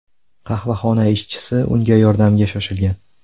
Qahvaxona ishchisi unga yordamga shoshilgan.